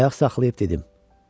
Ayaq saxlayıb dedim: